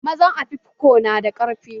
Mazan afikfo na da ƙarfi